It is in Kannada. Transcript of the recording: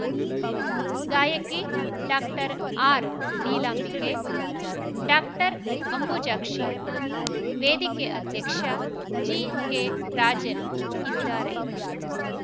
ಗಾಯಕಿ ಡಾಕ್ಟರ್ ಆರ್ನೀಲಾಂಬಿಕೆ ಡಾಕ್ಟರ್ ಅಂಬುಜಾಕ್ಷಿ ವೇದಿಕೆ ಅಧ್ಯಕ್ಷ ಜಿಕೆರಾಜನ್ ಇದ್ದಾರೆ